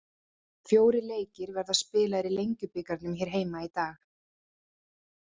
Fjórir leikir verða spilaðir í Lengjubikarnum hér heima í dag.